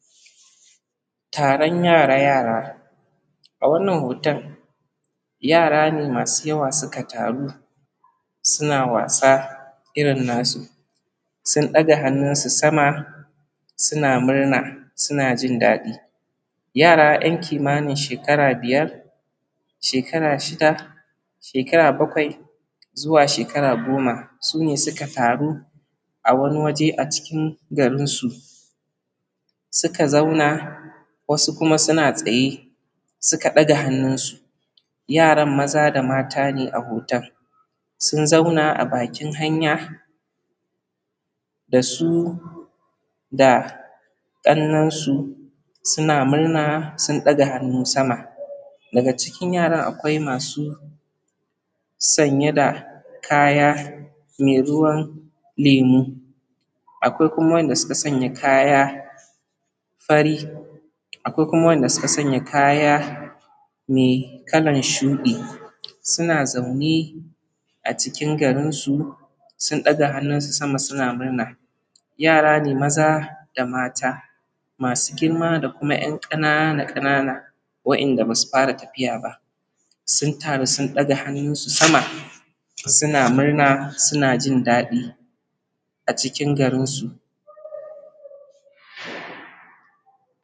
Taran yara yara. A wannan hoton, yara ne masu yawa suka taru. Suna wasa irin nasu. Sun daga hannun su sama, suna murna suna jin dadi. Yara yan kimanin shekara biyar, shekara shida, shekara bakwai, zuwa shekara goma. Sune suka taru, a wani waje a chikin, garinsu. Suka zauna ,wasu kuma suna tsaye, suka daga hannun su. Yaran maza da mata ne a hoton. Sun zauna a bakin hanya. Dasu da kannan su suna murna, sun daga hannu sama. Daga cikin yaran akwai masu, sanye da kaya, me ruwan lemu. Akwai kuma wanda suka sanya kaya fari. Akwai kuma wanda suka sanya. me kalan shudi. Suna zaune a cikin garinsu, sun daga hannun su sama suna murna. Yara ne maza da mata, masu girma dakuma yan ƙanana – ƙanana, wayanda basu fara tafiya ba. Sun taru sun daga hannun su sama. suna murna suna jin daɗi. a cikin garinsu.